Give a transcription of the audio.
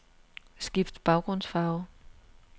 Skift baggrundsfarve.